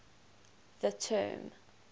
the term